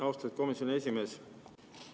Austatud komisjoni esimees!